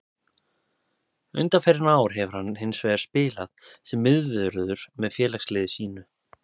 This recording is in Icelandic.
Undanfarin ár hefur hann hins vegar spilað sem miðvörður með félagsliði sínu.